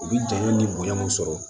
U bi janya ni bonya mun sɔrɔ